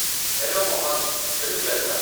Hello Mohan, କେମିତି ଅଛ ?